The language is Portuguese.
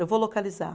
Eu vou localizar.